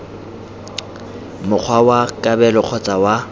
mokgwa wa kabelo kgotsa wa